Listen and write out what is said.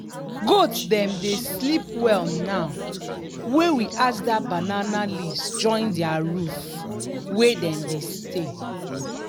goat dem dey sleep well now wey we add that banana leaves join their roof wey dem dey stay.